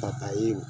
Fa ka ye